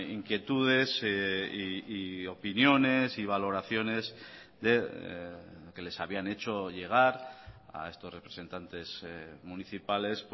inquietudes y opiniones y valoraciones que les habían hecho llegar a estos representantes municipales